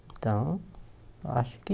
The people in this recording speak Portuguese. Então, acho que...